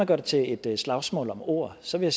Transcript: det til et slagsmål om ord så vil